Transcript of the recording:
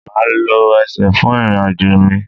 Maa lo ẹsẹ fun irin-ajo mi